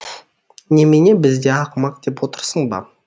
немене бізді ақымақ деп отырсың ба